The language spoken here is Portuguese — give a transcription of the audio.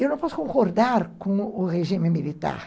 Eu não posso concordar com o regime militar.